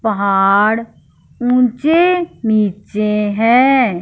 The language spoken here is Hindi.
पहाड़ ऊंचे नीचे हैं।